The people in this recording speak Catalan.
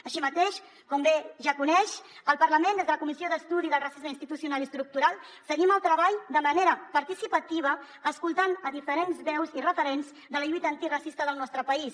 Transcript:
així mateix com bé ja coneix el parlament des de la comissió d’estudi del racisme institucional i estructural seguim el treball de manera participativa escoltant diferents veus i referents de la lluita antiracista del nostre país